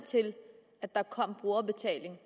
til at der kom brugerbetaling